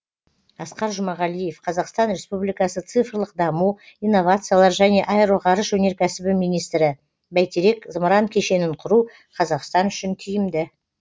асқар жұмағалиев қазақстан республикасы цифрлық даму инновациялар және аэроғарыш өнеркәсібі министрі бәйтерек зымыран кешенін құру қазақстан үшін тиімді